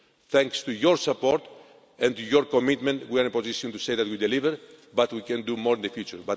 Thanks to your support and your commitment we are in a position to say that we deliver, but we can do more in the future.